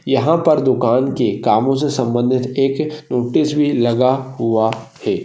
यहाँ पर दुकान के कामों से संबंधित एक एक नोटिस भी लगा हुआ है।